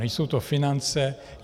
Nejsou to finance.